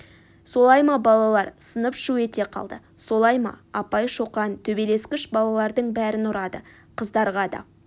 солай ма балалар сынып шу ете қалды солай апай шоқан төбелескіш балалардың бәрін ұрады қыздарға да